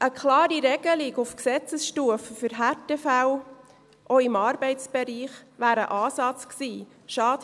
Eine klare Regelung auf Gesetzesstufe für Härtefälle, auch im Arbeitsbereich, wäre ein Ansatz gewesen.